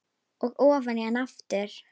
Og ofan í hana aftur.